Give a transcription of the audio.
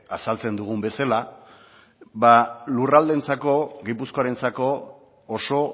azaltzen dugun bezala ba lurraldeentzako gipuzkoarentzako oso